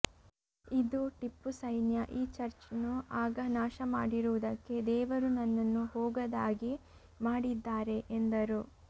ಇದು ಟಿಪ್ಪು ಸೈನ್ಯ ಈ ಚರ್ಚ್ನ್ನು ಆಗ ನಾಶ ಮಾಡಿರುವುದಕ್ಕೆ ದೇವರು ನನ್ನನ್ನು ಹೋಗದಾಗೆ ಮಾಡಿದ್ದಾರೆ ಎಂದರು